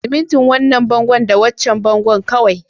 Simintin wannan bango da waccan bangon kawai